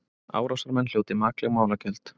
Árásarmenn hljóti makleg málagjöld